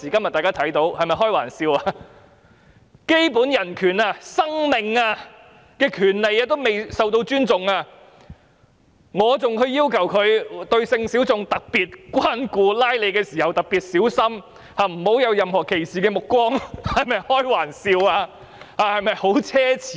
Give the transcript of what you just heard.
連基本人權、生命權也未受到尊重，還要求執法人員對性小眾特別關顧，拘捕時特別小心，不要存有任何歧視的目光，是否開玩笑，是否很奢侈？